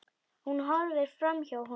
Hún horfir framhjá honum.